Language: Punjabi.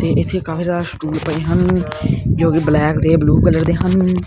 ਤੇ ਇਸੇ ਕਾਫਿ ਸਰੇ ਸਟੂਲ ਪਏ ਹਨ ਜੋ ਕਿ ਬਲੈਂਕ ਤੇ ਬਲੂ ਕਲਰ ਦੇ ਹਨ।